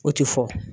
O tɛ fɔ